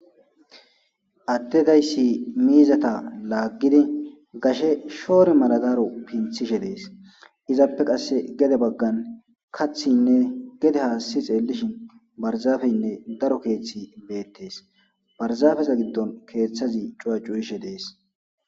Adde dayssi miizata laagizi gashe shore mara daro pinththishe de'ees. Ezappe qasse gede bagan kaththinne gede haassi xeelishin barzaafenne daro keeththi beetees. Barzaafeza gidon keethazi cuwa cuyishe deees.